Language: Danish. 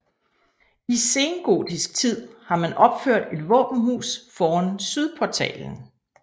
I sengotisk tid har man opført et våbenhus foran sydportalen